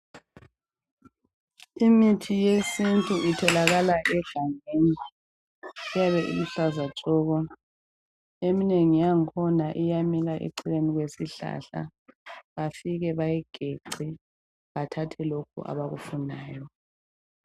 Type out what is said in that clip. Imithi yesintu itholakala egangeni iyabe iluhlaza tshoko eminengi yangikhona iyabe iseceleni kwesihlahla bafike bayigetse bathatha lokhu abakufunayo.